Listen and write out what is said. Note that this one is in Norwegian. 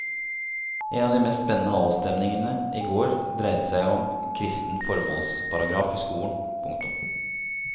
En av de mest spennende avstemningene i går dreide seg om kristen formålsparagraf i skolen. punktum